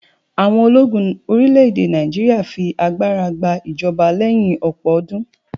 àwọn ológun orilẹ ède Naijiria fi agbara gba ijọba leyin ọpọ ọdún